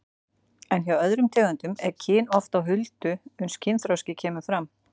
En hjá öðrum tegundum er kyn oft á huldu uns kynþroski kemur fram.